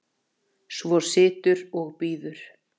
Svo situr og bíður.